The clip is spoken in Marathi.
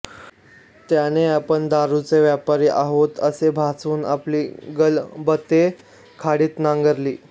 त्याने आपण दारूचे व्यापारी आहोत असे भासवून आपली गलबते खाडीत नांगरली